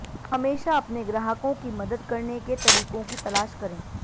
हमेशा अपने ग्राहकों की मदद करने के तरीकों की तलाश करें